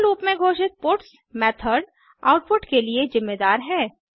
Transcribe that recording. four loop में घोषित puts method output के लिए जिम्मेदार है